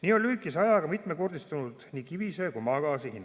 Nii on lühikese ajaga mitmekordistunud nii kivisöe kui ka maagaasi hind.